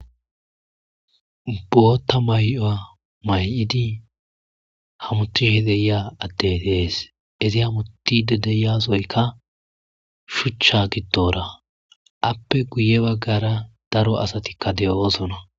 Botha mayo mayidi hamutidi diya ade betees izi hamutidi diya sohoyika shucha gidora appe guye bagara daro asatika dosona